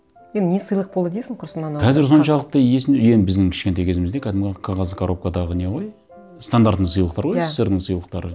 енді не сыйлық болды дейсің құрысын анау қазір соншалықты енді біздің кішкентай кезімізде кәдімгі қағаз коробкадағы не ғой стандартный сыйлықтар ғой иә ссср дің сыйлықтары